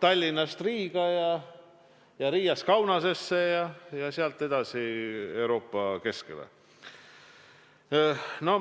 Tallinnast Riiga ja Riiast Kaunasesse ja sealt edasi Euroopa keskele.